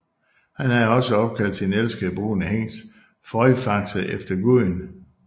Han havde også opkaldt sin elskede brune hingst Frøjfaxe efter guden